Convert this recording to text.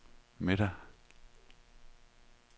middag